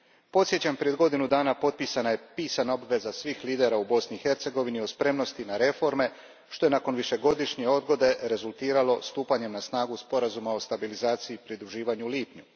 Podsjećam, prije godinu dana potpisana je pisana obveza svih lidera u Bosni i Hercegovini o spremnosti na reforme što je, nakon višegodišnje odgode, rezultiralo stupanjem na snagu Sporazuma o stabilizaciji i pridruživanju u lipnju.